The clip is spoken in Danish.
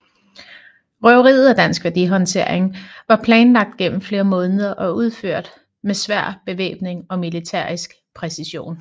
Røveriet af Dansk Værdihåndtering var planlagt gennem flere måneder og udført med svær bevæbning og militærisk præcision